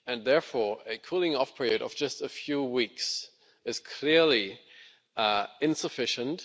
Therefore, a cooling off period of just a few weeks is clearly insufficient.